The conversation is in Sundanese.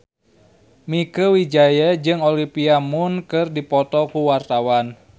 Mieke Wijaya jeung Olivia Munn keur dipoto ku wartawan